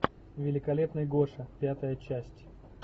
великолепный гоша пятая часть